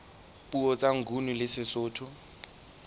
puo tsa nguni le sesotho